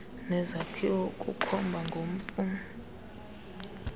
nezakhiwo ukukhomba ngompu